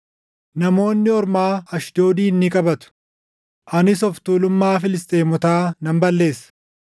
Namoonni ormaa Ashdoodin ni qabatu; anis of tuulummaa Filisxeemotaa nan balleessa.